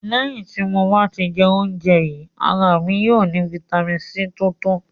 Lẹ̀hin ti mo bá tì jẹ̀ ọ̀unjè yìí, ara mi yóò ni fítamì C tó tọ̀